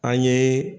An ye